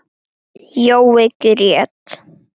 Jói grét.